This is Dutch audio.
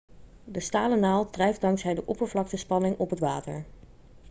de stalen naald drijft dankzij de oppervlaktespanning op het water